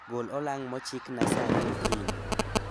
Gol olang' mochikna sa ariyo okinyi